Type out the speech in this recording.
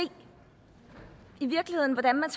hvordan man